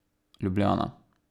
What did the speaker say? Ljubljana.